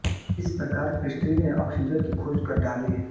इस प्रकार प्रीस्टलि ने ऑक्सिजन की खोज कर डाली